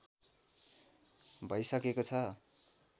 भैसकेको छ